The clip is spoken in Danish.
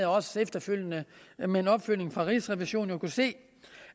og også efterfølgende med en opfølgning fra rigsrevisionen kunnet se